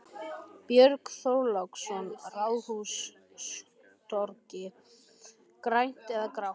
Björn Þorláksson: Ráðhústorgið, grænt eða grátt?